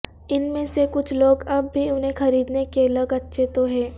ان میں سے کچھ لوگ اب بھی انہیں خریدنے کہ لگ اچھے تو ہیں